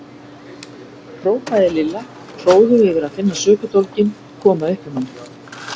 hrópaði Lilla hróðug yfir að finna sökudólginn koma upp um hann.